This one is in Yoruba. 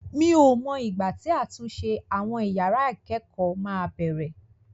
Mi ò mọ ìgbà tí àtúnṣe àwọn yàrá ìkẹ́kọ̀ọ́ máa bẹ̀rẹ̀.